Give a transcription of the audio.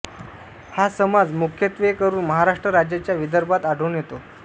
हा समाज मुख्यत्वेकरून महाराष्ट्र राज्याच्या विदर्भात आढळून येतो